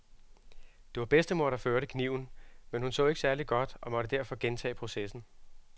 Det var bedstemor, der førte kniven, men hun så ikke særlig godt og måtte derfor gentage processen.